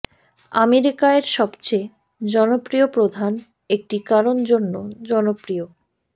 America এর সবচেয়ে জনপ্রিয় প্রধান একটি কারণ জন্য জনপ্রিয়